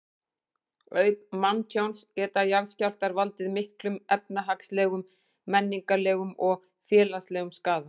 Auk manntjóns geta jarðskjálftar valdið miklum efnahagslegum, menningarlegum og félagslegum skaða.